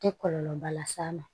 Tɛ kɔlɔlɔba las'a ma